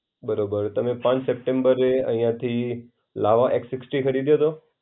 બરોબર. તમે ત્રણ સપ્ટેમ્બર અહિયાથી લાવા એક્સ સિક્સટી ખરીદ્યો હતો?